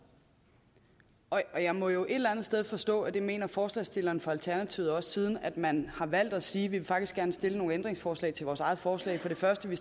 og jeg må jo et eller andet sted forstå at det mener forslagsstillerne fra alternativet også siden man har valgt at sige vi vil faktisk gerne stille nogle ændringsforslag til vores eget forslag for det første vi